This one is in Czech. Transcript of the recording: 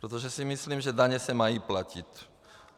Protože si myslím, že daně se mají platit.